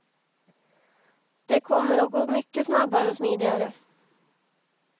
Det kommer att gå mycket snabbare och smidigare.